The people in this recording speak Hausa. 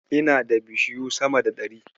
Ina da bishiyu sama da ɗari.